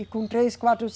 E com três, quatro